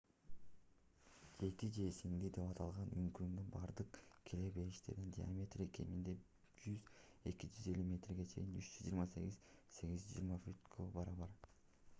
"жети эже-сиңди деп аталган үңкүрдүн бардык кире бериштеринин диаметри кеминде 100–250 метрге 328–820 фут барабар